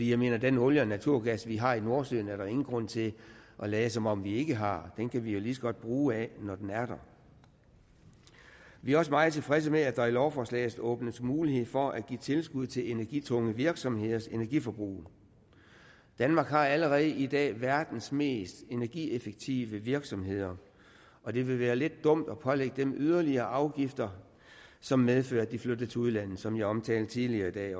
jeg mener den olie og naturgas vi har i nordsøen er der ingen grund til at lade som om vi ikke har den kan vi lige så godt bruge af når den er der vi er også meget tilfredse med at der i lovforslaget åbnes mulighed for at give tilskud til energitunge virksomheders energiforbrug danmark har allerede i dag verdens mest energieffektive virksomheder og det vil være lidt dumt at pålægge dem yderligere afgifter som medfører at de flytter til udlandet som jeg også omtalte tidligere i dag